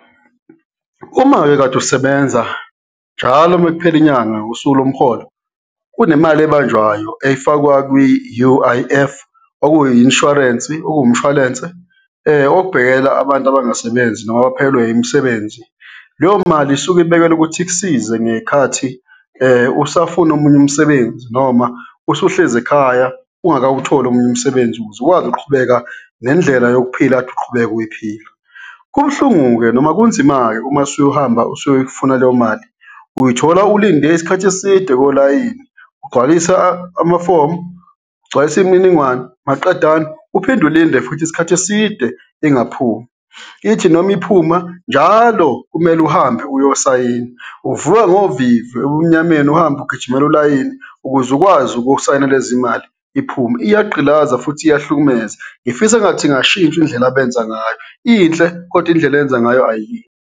Uma-ke kade usebenza, njalo mekuphela inyanga, usuku lomholo, kunemali ebanjwayo efakwa kwi-U_I_F, okuyi i-insurance-i, okuwumshwalense obhekelela abantu abangasebenzi noma abaphelelwe imisebenzi. Leyo mali isuke ibekelwe ukuthi ikusize ngey'khathi usafuna omunye umsebenzi noma usuhlezi ekhaya ungakawutholi omunye umsebenzi ukuze ukwazi ukuqhubeka nendlela yokuphila kade uqhubeka uyiphila. Kubuhlungu-ke noma kunzima-ke uma usuhamba usuyoyifuna leyo mali, uy'thola ulinde isikhathi eside kolayini ugcwalisa ama-form, ugcwalisa imininingwane maqedane uphinde ulinde futhi isikhathi eside ingaphumi, ithi noma iphuma njalo kumele uhambe uyosayina, uvuka ngovivi ebumnyameni, uhambe ugijimela ulayini ukuze ukwazi ukusayina lezi mali iphume. Iyagqilaza futhi iyahlukumeza, ngifisa engathi ingashintshwa indlela abenza ngayo, inhle kodwa indlela eyenza ngayo ayi.